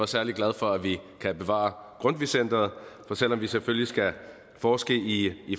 særlig glad for at vi kan bevare grundtvig centeret for selv om vi selvfølgelig skal forske i